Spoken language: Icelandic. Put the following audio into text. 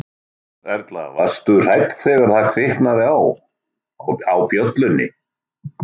Erla: Varstu hrædd þegar það kviknaði á, á bjöllunni?